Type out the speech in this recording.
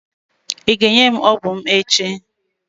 Ị ga-enye m ọgwụ m echi.